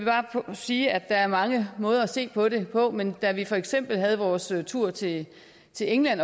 sige at der er mange måder at se på det på men da vi for eksempel havde vores tur til til england